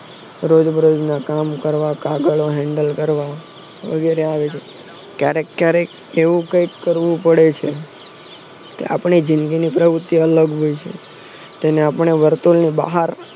રોજ બરોજના કામ કરવા કાગળો કરવા વગેરે ક્યારેક ક્યારેક એવું કઈક કરવું પડે છે કે આપડી જિંદગીની પ્રવુતિ અલગ હોય છે તેને આપડે વર્તુળ નું બહાર